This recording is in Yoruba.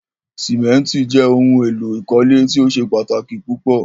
Símẹ̀ntì jẹ ohun èlò ìkọ́lé tí o ṣẹ̀ pátaki púpọ̀.